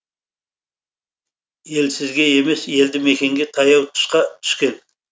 елсізге емес елді мекенге таяу тұсқа түскен